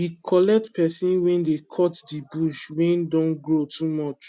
we collect pesin wey dey cut the bush wey don grow too much